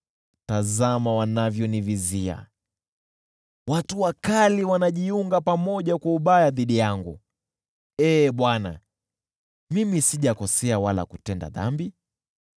Tazama wanavyonivizia! Watu wakali wananifanyia hila, ingawa Ee Bwana , mimi sijakosea wala kutenda dhambi.